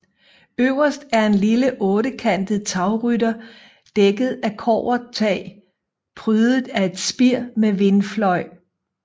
Øverst er en lille ottekantet tagrytter dækket af kobbertag prydet af et spir med vindfløj